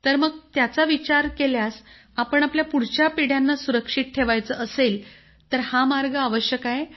तर मग त्याचा विचार केल्यास आपण आपल्या पुढच्या पिढ्यांना सुरक्षित ठेवायचं असेल तर हा मार्ग आवश्यक आहे